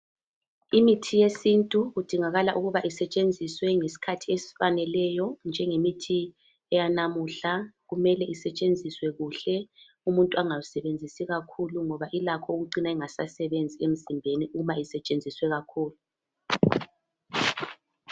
Imithi yesintu kudingakala ukuba isetshenziswe ngesikhathi esifaneleyo njengemithi yanamuhla kumelenisetshenziswe kuhle umuntu anangawusebenzisi kakhulu ngoba ilakho ukucina ingasasebenzi emzimbeni uma isetshenziswe kakhulu.